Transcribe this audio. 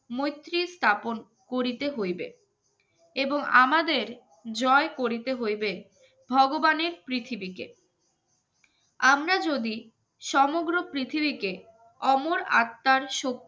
মৈত্রী স্থাপন করিতে হইবে এবং আমাদের জয় করিতে হইবে ভগবানের পৃথিবীতে আমরা যদি সমগ্র পৃথিবীকে অমর আত্মার